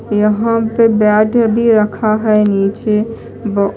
यहां पे बैट भी रखा है नीचे ब--